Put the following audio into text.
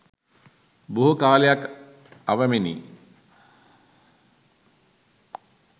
බොහෝ කාලයක් ඇවෑමෙනි.